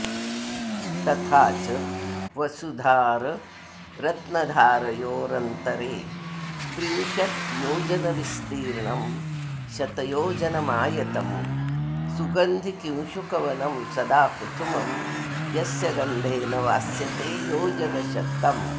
तथा च वसुधाररत्नधारयोरन्तरे त्रिंशद्योजनविस्तीर्णं शतयोजनमायतं सुगन्धिकिंशुकवनं सदाकुसुमं यस्य गन्धेन वास्यते योजनशतम्